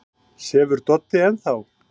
Sefur Doddi enn þá?